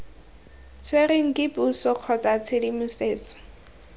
tshwerweng ke puso kgotsa tshedimosetso